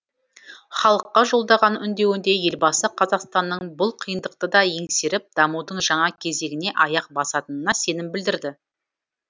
халыққа жолдаған үндеуінде елбасы қазақстанның бұл қиындықты да еңсеріп дамудың жаңа кезеңіне аяқ басатынына сенім білдірді